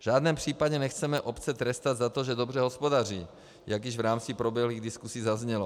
V žádném případě nechceme obce trestat za to, že dobře hospodaří, jak již v rámci proběhlých diskusí zaznělo.